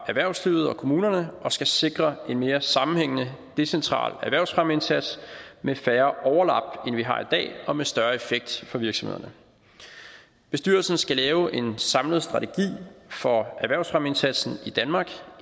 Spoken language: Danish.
erhvervslivet og kommunerne og skal sikre en mere sammenhængende decentral erhvervsfremmeindsats med færre overlap end vi har i dag og med større effekt for virksomhederne bestyrelsen skal lave en samlet strategi for erhvervsfremmeindsatsen i danmark